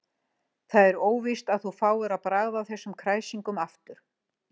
Það er óvíst að þú fáir að bragða á þessum kræsingum aftur.